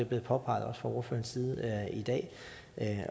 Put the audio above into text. blevet påpeget fra ordførerens side i dag